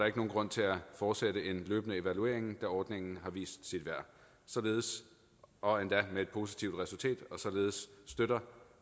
ikke nogen grund til at fortsætte en løbende evaluering da ordningen har vist sit værd og endda med et positivt resultat således støtter